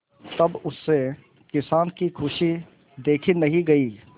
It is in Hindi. तब उससे किसान की खुशी देखी नहीं गई